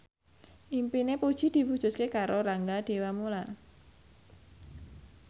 impine Puji diwujudke karo Rangga Dewamoela